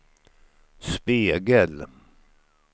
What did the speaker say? spegel